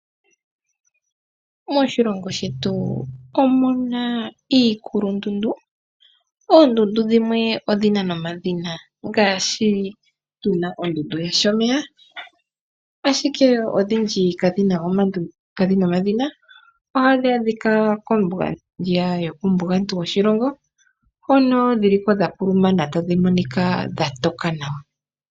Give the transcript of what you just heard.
Moshilongo shetu omuna iikulundundu ,oondundu dhimwe odhina nomadhina moka tuna ondundu yaShomeya ashike odhindji kadhina omadhina. Ohadhi adhika kombinga yokuumbugantu woshilongo hono dhiliko dhantuntumana tadhimonika dhatoka nawa.